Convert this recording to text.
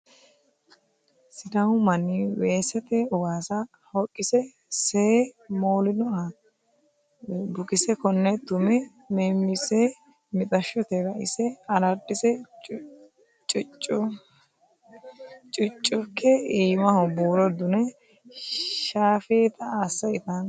Sidaamu manni weesete waasa hoqise see moolinoha bukese kone tume memise mixashote raise aradise cuchuke iimaho buuro dune shaafetta asse ittano.